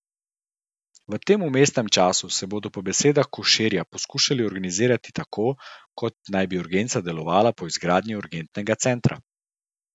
V tem vmesnem času se bodo po besedah Koširja poskušali organizirati tako, kot naj bi urgenca delovala po izgradnji urgentnega centra.